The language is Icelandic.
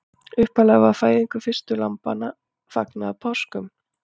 Upphaflega var fæðingu fyrstu lambanna fagnað á páskum.